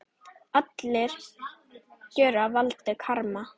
Allar gjörðir valda karma.